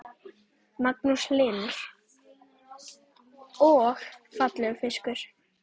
Magnús Hlynur: Og fallegur fiskur?